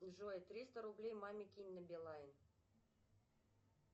джой триста рублей маме кинь на билайн